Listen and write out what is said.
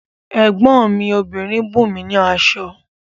Ẹ̀gbọ́n mi obìnrin bùnmi ní aṣọ